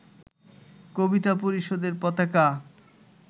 কবিতা পরিষদের পতাকা